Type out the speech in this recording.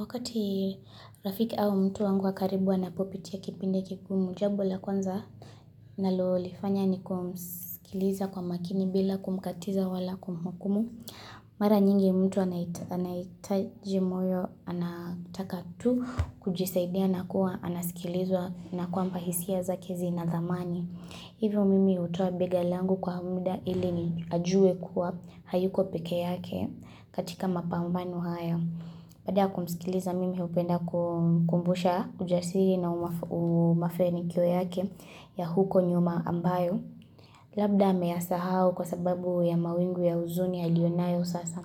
Wakati rafiki au mtu wangu wa karibu anapopitia kipindi kigumu jambonla kwanza nalolifanya ni kumskiliza kwa makini bila kumkatiza wala kumhukumu. Mara nyingi mtu anaitaji moyo anataka tu kujisaidia na kuwa anasikilizwa na kwamba hisia zake zina thamani. Hivyo mimi hutoa bega langu kwa muda ili ni ajue kuwa hayuko peke yake katika mapambano haya. Baada ya kumsikiliza mimi hupenda kumkumbusha ujasiri na umafanikio yake ya huko nyuma ambayo. Labda ameyasahau kwa sababu ya mawingu ya huzuni aliyonayo sasa.